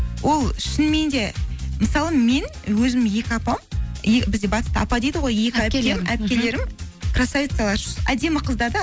ол шынымен де мысалы мен өзімнің екі апам бізде батыста апа дейді ғой әпкелерім красавицалар әдемі қыздар да